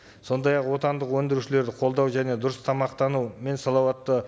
сондай ақ отандық өндірушілерді қолдау және дұрыс тамақтану мен салауатты